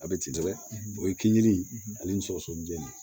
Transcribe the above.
A bɛ ci dɛ o ye kingere in ani sɔgɔsɔgɔninjɛ